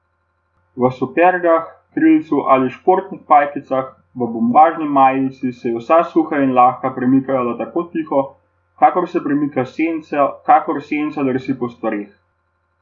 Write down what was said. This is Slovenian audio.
V supergah, krilcu ali športnih pajkicah, v bombažni majici se je vsa suha in lahka premikala tako tiho, kakor se premika senca, kakor senca drsi po stvareh.